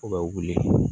U bɛ wuli